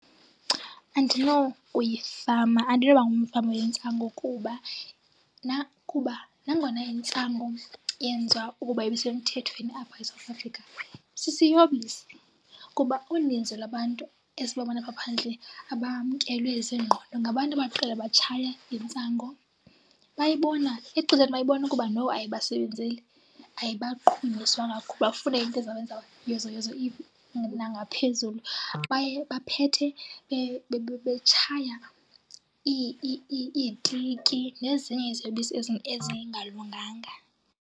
Andinokuyifama, andinoba ngumfama wentsangu kuba, kuba nangona intsangu yenzwa ukuba ibe semthethweni apha eSouth Africa, sisiyobisi kuba uninzi lwabantu esibabona apha phandle abamkelwe zingqondo ngabantu abaqale batshaya intsango. Bayibona, exesheni bayibona ukuba no, ayibasabenzeli ayibaqhunyiswa kakhulu bafuna into ezawubenza yozoyozo nangaphezulu. Baye baphethe betshaya iitiki nezinye iziyobisi ezingalunganga.